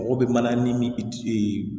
Mɔgɔ bɛ mana ni min